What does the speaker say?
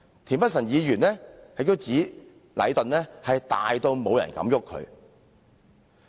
田北辰議員亦指禮頓"大到冇人敢郁佢"。